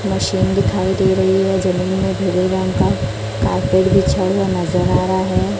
Machine दिखाई दे रही है जमीन में भूरे रंग का कारपेट बिछा हुआ नजर आ रहा है।